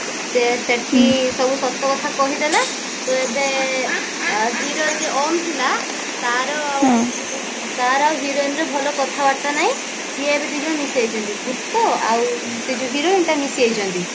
ସେ ସେଠି ସବୁ ସତ କଥା କହିଦେଲା ତ ଏବେ hero ଯିଏ ଓମ ଥିଲା ତାର ତାର ଆଉ heroineର ଭଲ କଥାବାର୍ତ୍ତା ନାଇ ସିଏ ଏବେ ଦୁଇଜଣ ମିଶି ଯାଇଛନ୍ତି ଭୁତ ଆଉ ସେ ଯୋଉ heroine ଟା ମିଶି ଯାଇଛନ୍ତି